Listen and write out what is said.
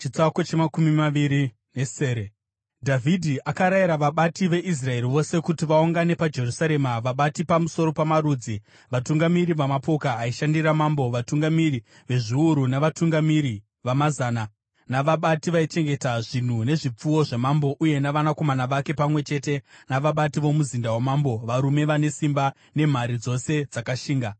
Dhavhidhi akarayira vabati veIsraeri vose kuti vaungane paJerusarema: vabati pamusoro pamarudzi, vatungamiri vamapoka aishandira mambo, vatungamiri vezviuru navatungamiri vamazana, navabati vaichengeta zvinhu nezvipfuwo zvamambo uye navanakomana vake, pamwe chete navabati vomumuzinda wamambo, varume vane simba nemhare dzose dzakashinga.